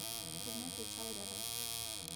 пивной причал рядом